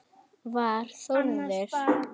Var Þórður